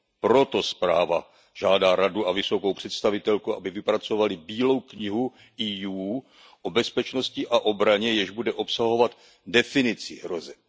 Proto zpráva žádá Radu a vysokou představitelku, aby vypracovaly Bílou knihu EU o bezpečnosti a obraně, jež bude obsahovat definici hrozeb.